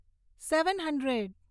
seven hundred